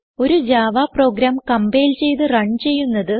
ഒരു Java program compile ചെയ്ത് run ചെയ്യുന്നത്